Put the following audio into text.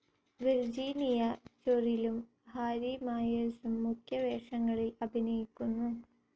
Virginia ചെറിലും Harry മായെഴ്സും മുഖ്യ വേഷങ്ങളിൽ അഭിനയിക്കുന്നു.